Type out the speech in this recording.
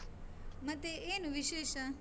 ಮತ್ತೆ ಏನು ವಿಶೇಷ?